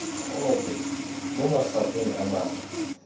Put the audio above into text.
gope mo mafapheng a mangwe